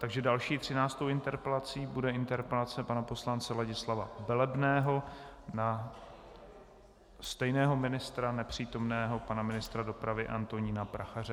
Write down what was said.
Takže další, třináctou interpelací bude interpelace pana poslance Ladislava Velebného na stejného ministra, nepřítomného pana ministra dopravy Antonína Prachaře.